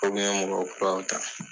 Ukun ye mɔgɔ kuraw ta.